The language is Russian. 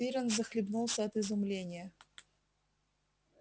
пиренн захлебнулся от изумления